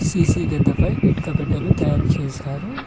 గడ్డపై ఇటుక పెట్టెలు తయారు చేశారు